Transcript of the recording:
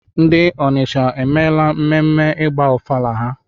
Ndi Onitsha emeela mmemme ịgba ọfala ha?